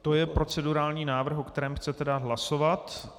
To je procedurální návrh, o kterém chcete dát hlasovat.